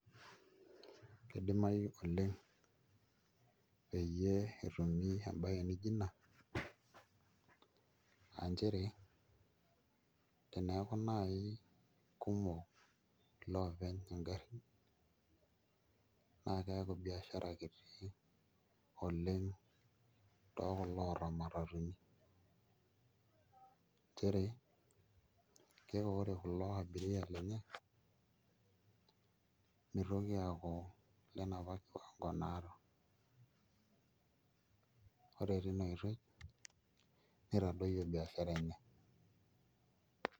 Kidimayu oleng' pee etumi embaye naaijo ina aa nchere teneeku naai kumok iloopeny ngarrin naa keeku biashara kiti oleng' tekulo oota imatatuni nchere keeku ore kulo abiria lenye mitoki aaku ilenapa kiwango naata, ore tina oitoi nitadoyio biashara enye.